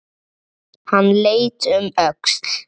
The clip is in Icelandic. Hann leit um öxl.